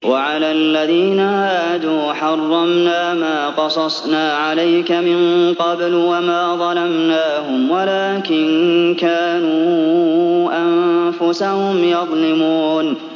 وَعَلَى الَّذِينَ هَادُوا حَرَّمْنَا مَا قَصَصْنَا عَلَيْكَ مِن قَبْلُ ۖ وَمَا ظَلَمْنَاهُمْ وَلَٰكِن كَانُوا أَنفُسَهُمْ يَظْلِمُونَ